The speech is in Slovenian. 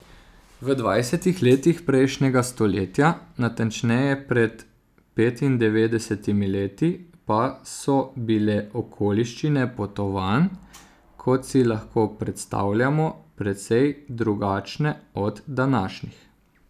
V dvajsetih letih prejšnjega stoletja, natančneje pred petindevetdesetimi leti, pa so bile okoliščine potovanj, kot si lahko predstavljamo, precej drugačne od današnjih.